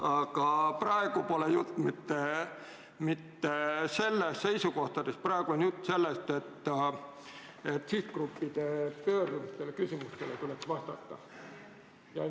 Aga praegu pole jutt mitte seisukohtadest, vaid praegu on jutt sellest, et sihtgruppide pöördumistele ja küsimustele tuleks vastata.